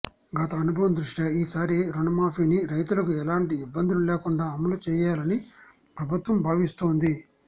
గత అనుభవం దృష్ట్యా ఈసారి రుణమాఫీని రైతులకు ఎలాంటి ఇబ్బందులు లేకుండా అమలు చేయాలని ప్రభుత్వం భావిస్తోంది